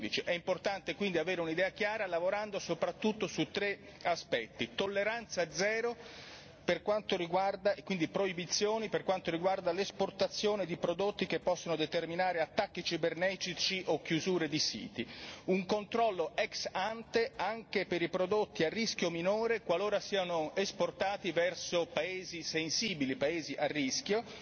2015. È importante quindi avere un'idea chiara lavorando soprattutto su tre aspetti tolleranza zero e quindi proibizioni per quanto riguarda l'esportazione di prodotti che possono determinare attacchi cibernetici o chiusure di siti un controllo ex ante anche per i prodotti a rischio minore qualora siano esportati verso paesi sensibili, paesi a rischio